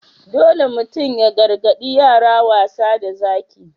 Dole mutum ya gargadi yara wasa da Zaki.